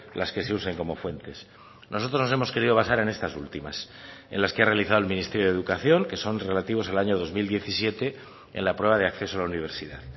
las que se usen como fuentes nosotros nos hemos querido basar en estas últimas en las que ha realizado el ministerio de educación que son relativos al año dos mil diecisiete en la prueba de acceso a la universidad